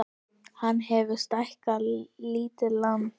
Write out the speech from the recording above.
Hann hefur stækkað lítið land